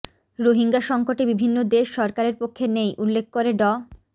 রোহিঙ্গা সংকটে বিভিন্ন দেশ সরকারের পক্ষে নেই উল্লেখ করে ড